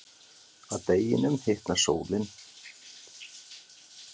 Að deginum hitar sólin vatnið sem verður þá yfirmettað.